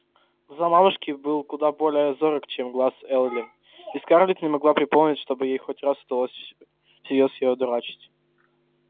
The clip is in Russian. глаз мамушки был куда более зорок чем глаз эллин и скарлетт не могла припомнить чтобы ей хоть раз удалось всерьёз её одурачить